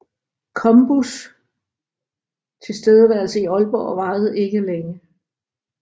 Combus tilstedeværelse i Aalborg varede ikke længe